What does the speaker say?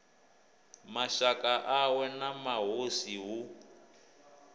mashaka awe na mahosi hu